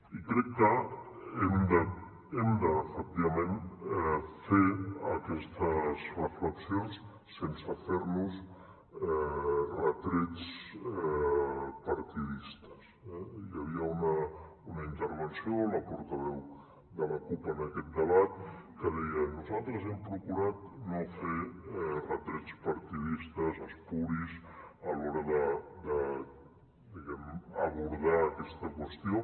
i crec que hem efectivament de fer aquestes reflexions sense fer nos retrets partidistes eh hi havia una intervenció la portaveu de la cup en aquest debat que deia nosaltres hem procurat no fer retrets partidistes espuris a l’hora diguem ne d’abordar aquesta qüestió